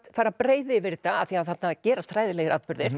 fara að breiða yfir þetta af því þarna gerast hræðilegir atburðir